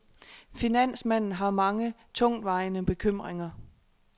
Finansmanden har mange tungtvejende bekymringer.